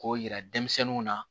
K'o yira denmisɛnninw na